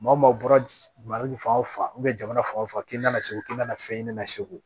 Maa o maaw bɔra fan o fan jamana fan o fan k'i nana segu k'i nana fɛn ɲini na segu